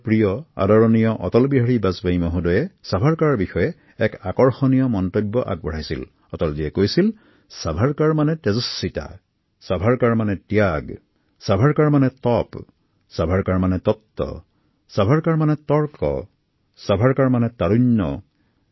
আমাৰ সন্মানীয় অটল বিহাৰী বাজপেয়ী মহোদয়ে ছাভাৰকাৰ সন্দৰ্ভত কৈছিল যে ছাভাৰকাৰ মানেই হল এক উজ্জল প্ৰতিভা ত্যাগ তপস্যা দৃঢ়তা যুক্তি যুৱ তীৰ আৰু একন শক্তিশালী তৰোৱাল